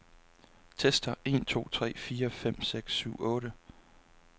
Tester en to tre fire fem seks syv otte.